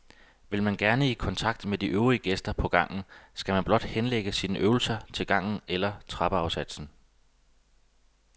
Hvis man gerne vil i kontakt med de de øvrige gæster på gangen, skal man bare henlægge sine øvelser til gangen eller trappeafsatsen.